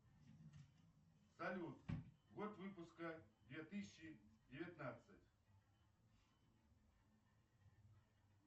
салют год выпуска две тысячи девятнадцать